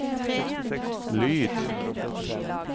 lyd